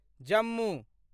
Jammu